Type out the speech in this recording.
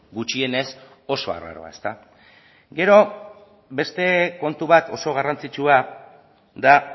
gutxienez oso arraroa ezta gero beste kontu bat oso garrantzitsua da